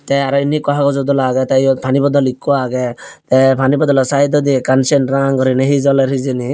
te aro inni ikko haojo dola aage te yod paani bodol ikko aage te paani bodollo saidodi ekkan seyen ranga gurine he joler hejeni.